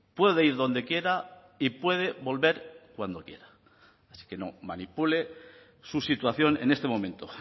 puede ir donde quiera y puede volver cuando quiera así que no manipule su situación en este momento